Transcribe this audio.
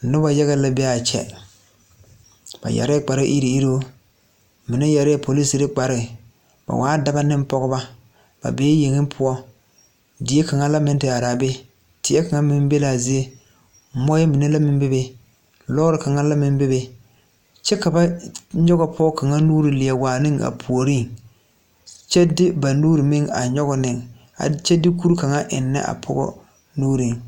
Nobɔ yaga la be aa kyɛ ba yɛrɛɛ kpare iruŋ iruŋ mine yɛrɛɛ poliserre kparoo ba waa dɔbɔ neŋ pɔgebɔ ba bee yeŋe poɔ die kaŋa la meŋ te araa be tie kaŋ meŋ be laa zie moɔɛ mine la meŋ bebe lɔɔre kaŋa la meŋ bebe kyɛ ka ba nyoge pɔgɔ kaŋa nuure a waa ne a puoriŋ kyɛ de ba nuure meŋ a nyoge ne kure kaŋa a eŋnɛ a pɔgɔ nuuriŋ.